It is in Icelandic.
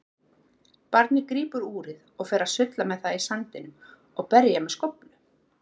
Barnið grípur úrið og fer að sulla með það í sandinum og berja með skóflu.